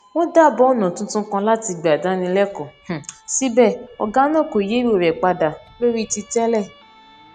wón dábàá ònà tuntun kan láti gbà dáni lékòó síbẹ ògá náà kò yí èrò rè padà lórí ti tẹlẹ